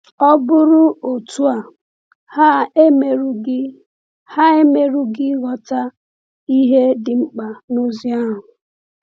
Ọ bụrụ otu a, ha emerughị ha emerughị ịghọta ihe dị mkpa n’ozi ahụ.